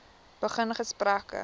begin gesprekke